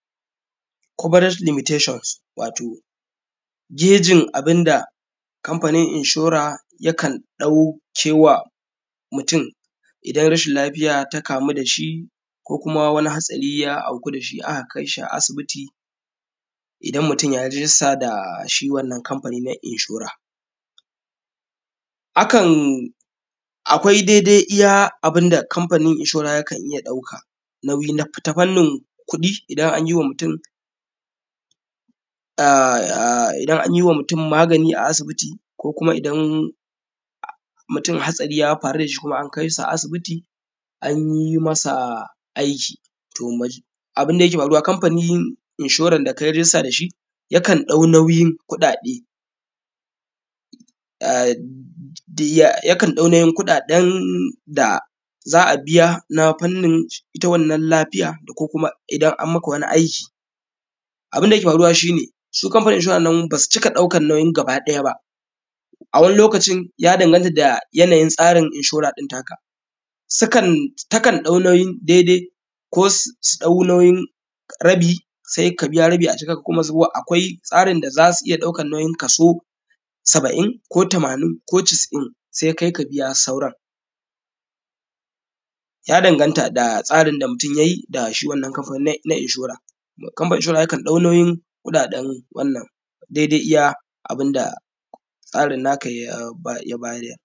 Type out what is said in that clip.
“Coverage limitations” wato, gejin abin da Kamfanin Inshora yakan ɗauke wa mutun idan rashil lafiya ta kamu da shi ko kuma wani hatsari ya auku da shi, aka kai shi a asibiti, idan mutun ya yi rijista da shi wannan kamfani na inshore. Akan; akwai dede iya abin da kamfanin inshore yakan iya ɗauka nauyi n; ta fannin kuɗi idan an yi wa mutun, a; idan an yi wa mutun magani a asibiti ko kuma idan mutun hatsari ya faru da shi ko kuma an kai sa a asibiti, an yi masa aiki. To, abin da yake faruwa, kamfanin inshoran da kai rijista da shi, yakan ɗau nauyin kuɗaɗe, a; diyya; yakan ɗau nauyin kuɗaɗen da za a biya na fannin ita wannan lafiya da ko kuma idan an maka wani aiki. Abin da yake faruwa, shi ne, shi kamfanin inshoran nan, ba su cika ɗaukan nauyin gabaɗaya ba. A wani lokacin, ya danganta da yanayin tsarin inshora ɗin taka, sika; takan ɗau nauyin dedai ko s; su ɗau nauyin rabi, se ka biya rabi. Sukan kuma zuwa, akwai tsarin da za su iya ɗaukan nauyin kaso saba’in ko tamanin ko casa’in, se kai ka biya sauran. Ya danganta da tsarin da mutun ya yi da shi wannan kamfani na; na inshore. Kamfani inshore yakan ɗau nauyin kuɗaɗen wannan, dede iya abun da tsarin naka ya; ya bayar.